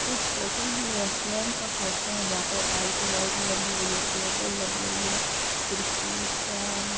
इस फोटो ही रेस्टोरेंट का फोटो है। जहां पर लाइट वाइट लगी हुई है। टेबल लगी हुई है। कुर्सी फैन --